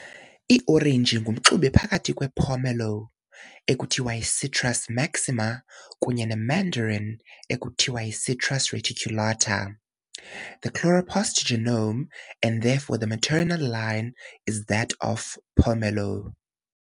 Iorenji ngumxube phakathi kwepomelo, Citrus maxima, kunye nemandarin, Citrus reticulata. The chloroplast genome, and therefore the maternal line, is that of pomelo.